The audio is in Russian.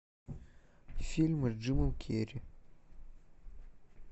фильмы с джимом керри